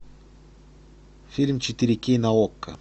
фильм четыре кей на окко